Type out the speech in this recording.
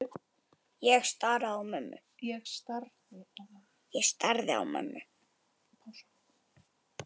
Ég starði á mömmu.